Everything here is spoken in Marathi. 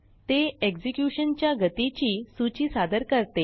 ते एक्झेक्युशनच्यागतीची सूची सादर करते